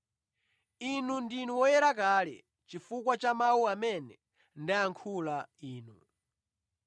Inu ndinu oyera kale chifukwa cha mawu amene ndayankhula inu.